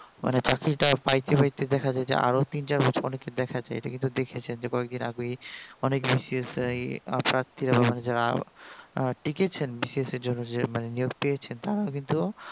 মানে চাকরিটা পাইতে পাইতে দেখা যায় যে আরো তিন চার বছর লেগে যায় এইটা দেখেছেন যে কয়েকদিন আগেই অনেক BCS প্রার্থীরা যারা আহ টিকেছেন BCS এর জন্য যে নিয়োগ পেয়েছেন তারাও কিন্তু